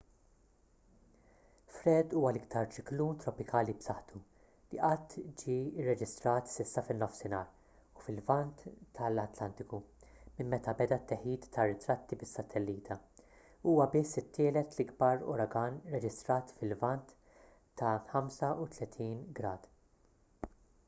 fred huwa l-iktar ċiklun tropikali b’saħħtu li qatt ġie rreġistrat s’issa fin-nofsinhar u fil-lvant tal-atlantiku minn meta beda t-teħid ta’ ritratti bis-satellita u huwa biss it-tielet l-akbar uragan rreġistrat fil-lvant ta’ 35°w